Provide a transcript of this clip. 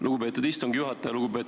Lugupeetud istungi juhataja!